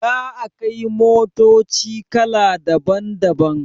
Da akai motoci kala daban daban